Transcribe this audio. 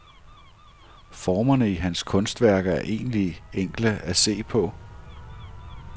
Formerne i hans kunstværker er egentlig enkle at se på.